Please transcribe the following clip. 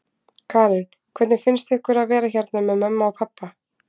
Karen: Hvernig finnst ykkur að vera hérna með mömmu og pabba?